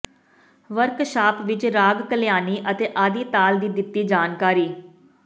workshop ਵਿਚ ਰਾਗ ਕਲਿਆਣੀ ਅਤੇ ਆਦਿ ਤਾਲ ਦੀ ਦਿੱਤੀ ਜਾਣਕਾਰੀ